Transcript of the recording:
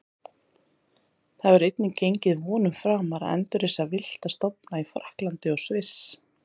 Það hefur einnig gengið vonum framar að endurreisa villta stofna í Frakklandi og Sviss.